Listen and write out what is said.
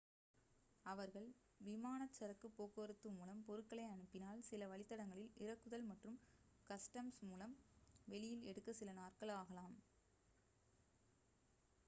அவர்கள் விமானச் சரக்குப் போக்குவரத்து மூலம் பொருட்களை அனுப்பினால் சில வழித்தடங்களில் இறக்குதல் மற்றும் கஸ்டம்ஸ் மூலம் வெளியில் எடுக்க சில நாட்கள் ஆகலாம்